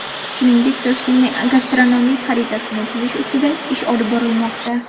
Shuningdek, Toshkentning gastronomik xaritasini tuzish ustida ish olib borilmoqda.